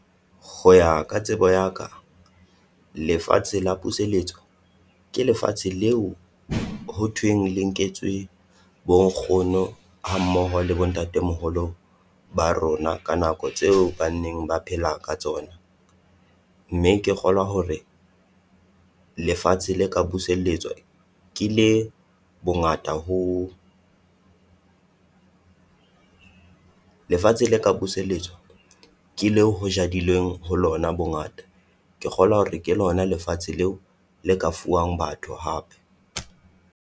Ho ya ka tsebo ya ka lefatshe la puseletso, ke lefatshe leo ho thweng le nketswe bo nkgono hammoho le bo ntatemoholo ba rona ka nako tseo banneng ba phela ka tsona. Mme ke kgolwa hore lefatshe le ka buseletswa ke le bongata ho lefatshe le ka puseletso ke leo ho jadilweng ho lona bongata. Ke kgolwa hore ke lona lefatshe leo le ka fuwang batho hape.